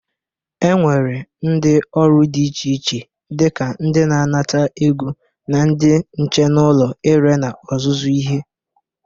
E nwere ndị ọrụ dị iche iche dịka ndị na-anata ego na ndị nche n'ụlọ ire na ọzụzụ ihe.